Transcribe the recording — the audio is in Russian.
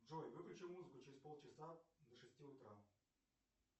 джой выключи музыку через полчаса до шести утра